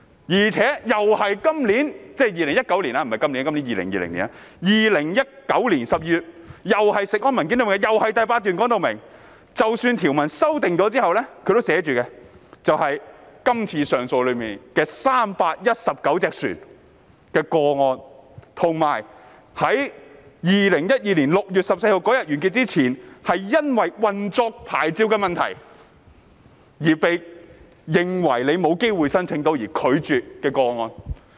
而且 ，2019 年12月事務委員會的文件，第8段已註明，即使在條文修訂後，今次只涉及319艘船的上訴個案，以及在2012年6月14日完結前因為運作牌照的問題，而被假設申請會遭拒絕的個案。